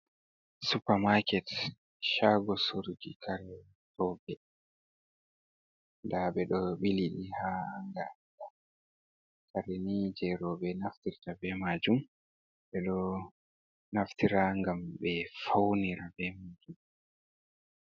Supermarket shago surogi kare robe da be do bili di ha hanga kareni je robe naftirta be majum be do naftira gam be faunira be majum.